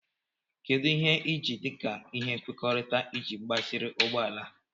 Kedu ihe ị ji dị ka ihe nkwekọrịta iji gbaziri ụgbọ ala a?